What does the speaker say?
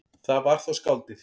Það var þá skáldið.